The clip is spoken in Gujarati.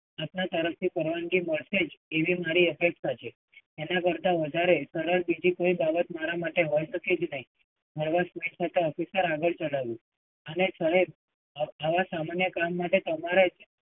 આપના તરફથી પરાવનગી મળશે જ એવી મારી અપેક્ષા છે. એના કરતાં સરળ હવે કોઈ બીજી બાબત હવે મારા માટે નથી જ રહી. હળવાશ સ્મિત સાથે officer એ આગળ ચલાવ્યું, અને સાહેબ આવા સામાન્ય કામ માટે તમારે